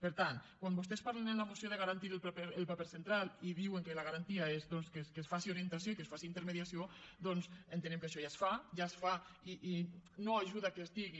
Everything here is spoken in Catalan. per tant quan vostès parlen en la moció de garantir el paper central i diuen que la garantia és doncs que es faci orientació i que es faci intermediació entenem que això ja es fa ja es fa i no ajuda que es digui